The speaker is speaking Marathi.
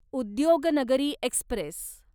उद्योगनगरी एक्स्प्रेस